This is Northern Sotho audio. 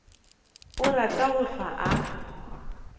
a rata go hlwa a